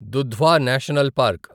Dudhwa national park